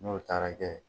N'o taara kɛ